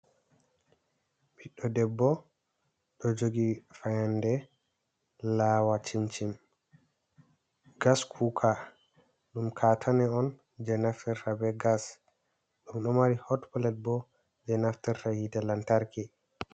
Ɓiddo ɗebbo ɗo jogi fayande lawa chimchim, gas cuoka ɗum katane on je nafter tabe gas ɗum ɗo mari hot plet bo je naftera hite lantarki.